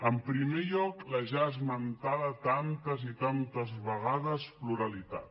en primer lloc la ja esmentada tantes i tantes vegades pluralitat